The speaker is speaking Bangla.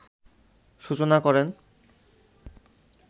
সূচনা করেন